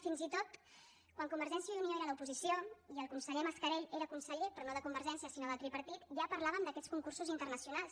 fins i tot quan convergència i unió era a l’oposició i el conseller mascarell era conseller però no de convergència sinó del tripartit ja parlàvem d’aquests concursos internacionals